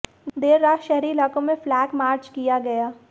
देर रात शहरी इलाकों में फ्लैग मार्च किया गया